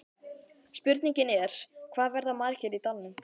Spurningin er, hvað verða margir í dalnum?